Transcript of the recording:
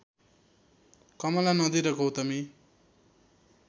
कमला नदी र गौतमी